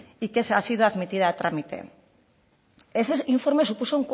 y que ha sido admitida a trámite ese informe supuso